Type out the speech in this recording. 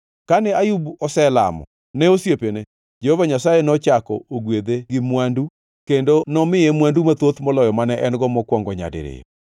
Kane Ayub oselamo ne osiepene, Jehova Nyasaye nochako ogwedhe gi mwandu, kendo nomiye mwandu mathoth moloyo mane en-go mokwongo nyadiriyo.